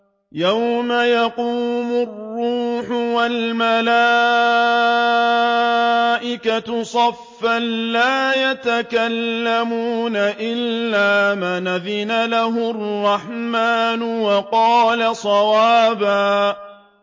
يَوْمَ يَقُومُ الرُّوحُ وَالْمَلَائِكَةُ صَفًّا ۖ لَّا يَتَكَلَّمُونَ إِلَّا مَنْ أَذِنَ لَهُ الرَّحْمَٰنُ وَقَالَ صَوَابًا